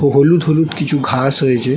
হলুদ হলুদ কিছু ঘাস হয়েছে।